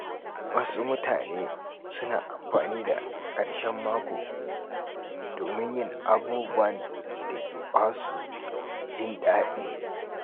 Wasu mutane suna amfani da ƙarshen mako domin yin abubuwan da ke basu jin daɗi.